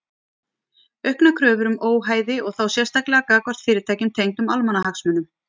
Auknar kröfur um óhæði og þá sérstaklega gagnvart fyrirtækjum tengdum almannahagsmunum.